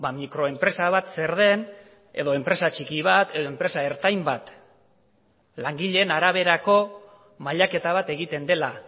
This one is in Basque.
mikroenpresa bat zer den edo enpresa txiki bat edo enpresa ertain bat langileen araberako mailaketa bat egiten dela